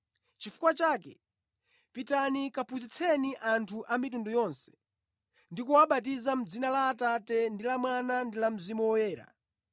Chifukwa chake, pitani kaphunzitseni anthu a mitundu yonse, ndi kuwabatiza mʼdzina la Atate ndi la Mwana ndi la Mzimu Woyera,